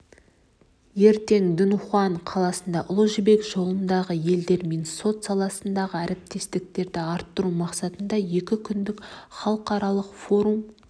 ертең дуньхуан қаласында ұлы жібек жолындағы елдермен сот саласындағы әріптестікті арттыру мақсатында екі күндік іалықаралық форум